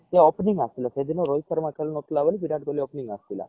ହଁ ସିଏ opening ଆସିଥିଲା ସେଦିନ ରୋହିତ ଶର୍ମା ଖେଳୁ ନଥିଲା ବୋଲି ବିରାଟ କୋହଲୀ opening ଆସିଥିଲା